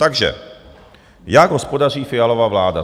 Takže, jak hospodaří Fialova vláda?